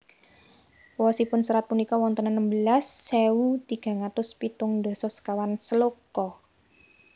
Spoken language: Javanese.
Wosipun serat punika wonten enem belas ewu tigang atus pitung dasa sekawan sloka